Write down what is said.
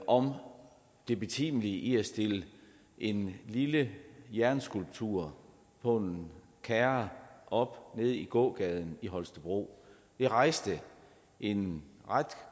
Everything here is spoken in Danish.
om det betimelige i at stille en lille jernskulptur på en kærre op nede i gågaden i holstebro det rejste en ret